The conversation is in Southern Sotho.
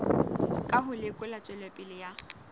ka ho lekola tswelopele ya